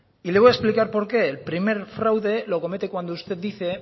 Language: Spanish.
y le voy a explicar por qué el primer fraude lo comete cuando usted dice